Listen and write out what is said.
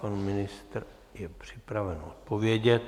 Pan ministr je připraven odpovědět.